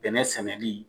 Bɛnɛ sɛnɛli